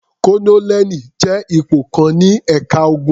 Kólónẹ́ẹ́lì jẹ́ ipò kan ní ẹ̀ka ogun.